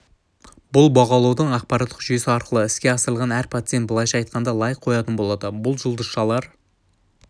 бұл бағалаудың ақпараттық жүйесі арқылы іске асырылады әр пациент былайша айтқанда лайк қоятын болады бұл жұлдызшалар